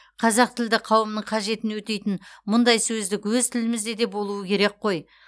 қазақтілді қауымның қажетін өтейтін мұндай сөздік өз тілімізде де болуы керек қой